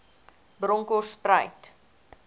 bronkhortspruit